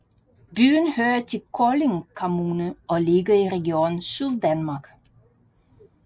Byen hører til Kolding Kommune og ligger i Region Syddanmark